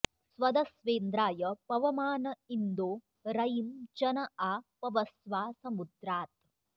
स्वद॒स्वेन्द्रा॑य॒ पव॑मान इन्दो र॒यिं च॑ न॒ आ प॑वस्वा समु॒द्रात्